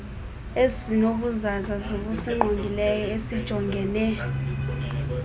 ezinobuzaza zokusingqongileyo esijongene